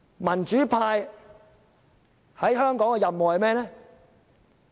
民主派在香港的任務是甚麼？